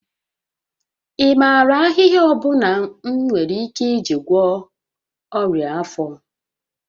Ị maara ahịhịa ọ bụla m nwere ike iji gwọọ ọnya afọ?